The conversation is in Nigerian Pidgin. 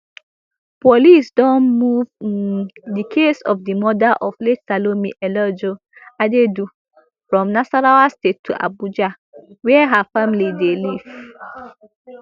police don move um di case of di murder of late salome eleojo adaidu from nasarawa state to abuja wia her family dey live um